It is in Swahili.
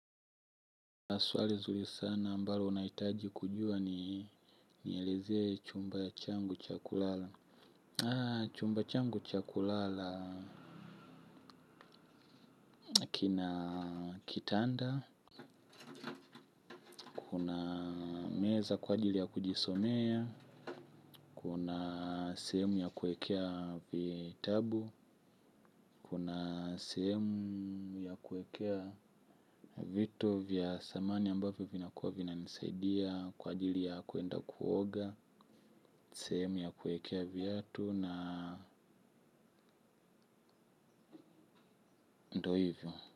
Swali zuri sana ambalo unahitaji kujua ni nielezee chumba changu cha kulala. Chumba changu cha kulala na kina kitanda. Meza kwa ajili ya kujisomea. Kuna sehemu ya kuekea vitabu. Kuna semu ya kuekea vitu vya thamani ambavyo vinakuwa vinanisaidia. Kwa ajili ya kuenda kuoga. Sehemu ya kuekea viatu na ndo hivyo.